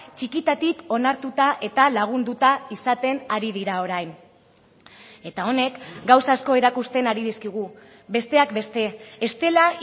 txikitatik onartuta eta lagunduta izaten ari dira orain eta honek gauza asko erakusten ari dizkigu besteak beste ez dela